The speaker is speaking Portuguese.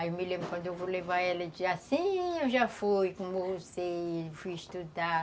Aí eu me lembro quando eu vou levar elas, assim, eu já fui como você, fui estudar.